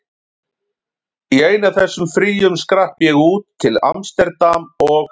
Í einu af þessum fríum skrapp ég út, til amsterdam og